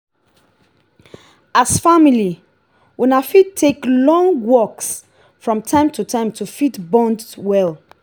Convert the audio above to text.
as family una fit take long walks from time to time to fit bond well